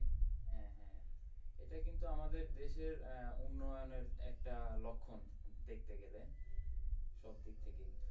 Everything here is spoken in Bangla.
হ্যাঁ হ্যাঁ এটা কিন্তু আমাদের দেশের আহ উন্নয়নের একটা লক্ষণ দেখতে গেলে সব দিক থেকেই।